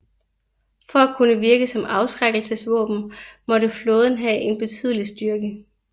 For at kunne virke som afskrækkelsesvåben måtte flåden have en betydelig styrke